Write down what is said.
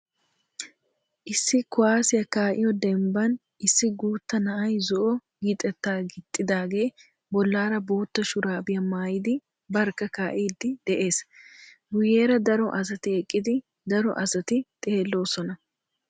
Issi kuwaassiya kaa"iyoo dembban issi guutta na"ay zo"o gixetaa gididaagee bollaara bootta shuraabiya maayidi barkka kaa"idi de'ees. Guyyeera daro asati eqqidi daro asati xeelloosona.